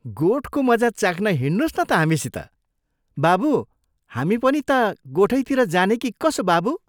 गोठको मजा चाख्न हिंड्नोस् न त हामीसित बाबु हामी पनि ता गोठैतिर जाने कि कसो बाबु?